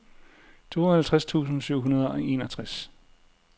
tooghalvtreds tusind syv hundrede og enogtres